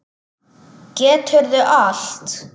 Geturðu allt?